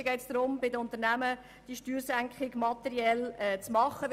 Es geht darum, die Steuersenkung bei den Unternehmen materiell vorzunehmen.